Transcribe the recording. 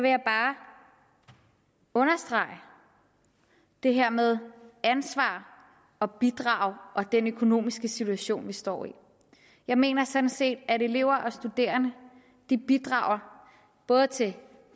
jeg bare understrege det her med ansvar og bidrag og den økonomiske situation vi står i jeg mener sådan set at elever og studerende bidrager både til